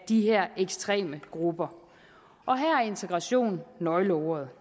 de her ekstreme grupper og her er integration nøgleordet